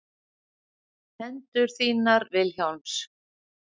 Hendur þínar Vilhjálms.